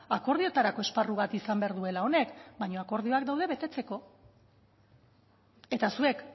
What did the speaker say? akordioetarako esparru bat izan behar duela honek baino akordioak daude betetzeko eta zuek